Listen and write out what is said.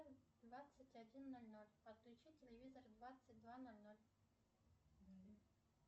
двадцать один ноль ноль отключить телевизор в двадцать два ноль ноль